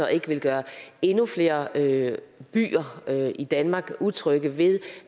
at gøre endnu flere byer i danmark utrygge ved